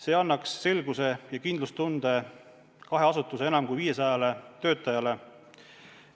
See annaks selguse ja kindlustunde kahe asutuse enam kui 500 töötajale.